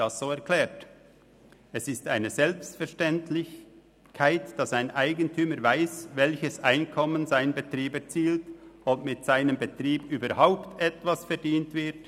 Es ist eine Selbstverständlichkeit, dass ein Eigentümer weiss, welches Einkommen sein Betrieb erzielt oder ob mit seinem Betrieb überhaupt etwas verdient wird.